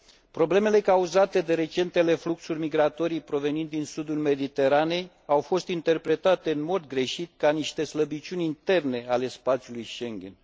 Problemele cauzate de recentele fluxuri migratorii provenind din sudul Mediteranei au fost interpretate în mod greșit ca niște slăbiciuni interne ale spațiului Schengen.